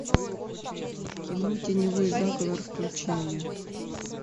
кино теневой заговор включи мне